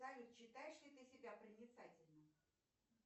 салют считаешь ли ты себя проницательным